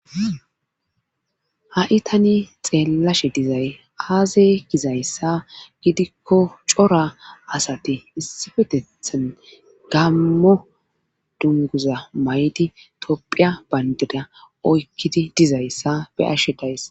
ha7i tani xeellashe dizay aaze gizayssa gidikko cora asati issipetethan gammo dunguza may7di tophphiya bayndira oykkidi dizayssa be7ashe days